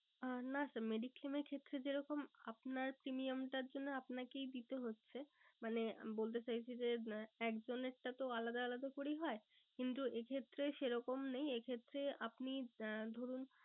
আহ না sir mediclaim এর ক্ষেত্রে যেরকম আপনার premium টার জন্য আপনাকেই দিতে হচ্ছে মানে বলতে চাইছি যে একজনেরটা তো আলাদা আলাদা করেই হয়। কিন্তু এ ক্ষেত্রে সেরকম নেই এ ক্ষেত্রে আপনি আহ ধরুন